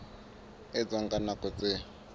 e etswang ka nako tse